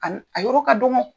A n a yɔrɔ ka dɔgɔn.